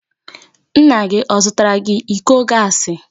Nna gị ọ zụtara iko gaasi?